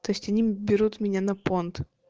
то есть они берут меня на понт